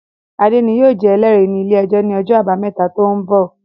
Adé ni yóò jẹ Ẹlẹ́rìí ní ilé-ẹjọ̀ ní ọjọ́ àbámẹ́ta tó ń bọ̀